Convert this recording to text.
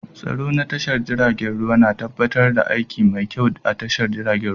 Tsaro na tashar jiragen ruwa na tabbatar da aiki mai kyau a tashar jiragen ruwa